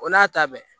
O n'a ta bɛɛ